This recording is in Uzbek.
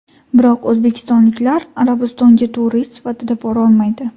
Biroq o‘zbekistonliklar Arabistonga turist sifatida borolmaydi.